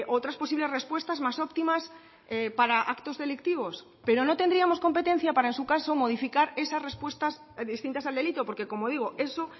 otras posibles respuestas más óptimas para actos delictivos pero no tendríamos competencia para en su caso modificar esas respuestas distintas al delito porque como digo eso